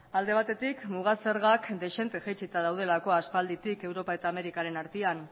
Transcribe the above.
alde batetik muga zergak dezente jaitsita daudelako aspalditik europa eta amerikaren artean